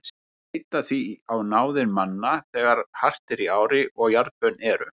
Þeir leita því á náðir manna þegar hart er í ári og jarðbönn eru.